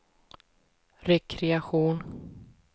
rekreation